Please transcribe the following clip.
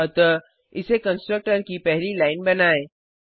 अतः इसे कंस्ट्रक्टर की पहली लाइन बनाएँ